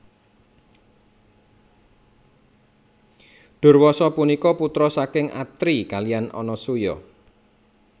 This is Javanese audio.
Durwasa punika putra saking Atri kaliyan Anasuya